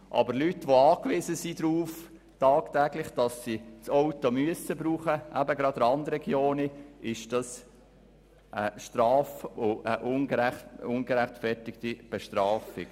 Aber für Leute, die gerade in Randregionen tagtäglich auf ein Auto angewiesen sind, ist das eine ungerechtfertigte Bestrafung.